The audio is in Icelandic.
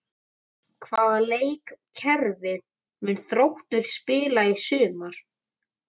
Hvaða leikkerfi mun Þróttur spila í sumar?